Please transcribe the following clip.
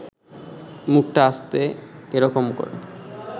মুখটা আস্তে এ রকম করে